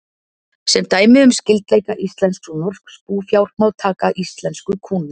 Sem dæmi um skyldleika íslensks og norsks búfjár má taka íslensku kúna.